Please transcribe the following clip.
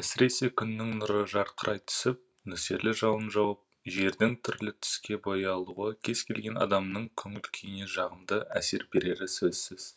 әсіресе күннің нұры жарқырай түсіп нөсерлі жауын жауып жердің түрлі түске боялуы кез келген адамның көңіл күйіне жағымды әсер берері сөзсіз